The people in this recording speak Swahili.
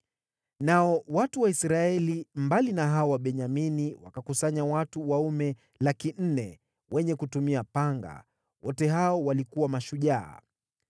Nao watu wa Israeli, mbali na hao wa Benyamini, wakakusanya watu waume 400,000, wenye kutumia panga, wote hao walikuwa mashujaa.